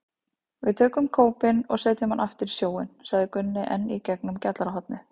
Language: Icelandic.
Við tökum kópinn og setjum hann aftur í sjóinn, sagði Gunni enn í gegnum gjallarhornið.